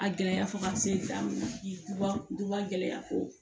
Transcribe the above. A gɛlɛya fɔ ka se da ma duba gɛlɛya ko